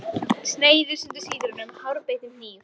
Sneiðir í sundur sítrónu með hárbeittum hníf.